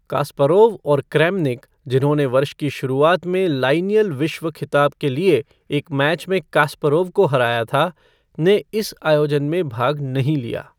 Kasparov और Kramnik, जिन्होंने वर्ष की शुरुआत में लाइनियल विश्व खिताब के लिए एक मैच में कास्परोव को हराया था, ने इस आयोजन में भाग नहीं लिया।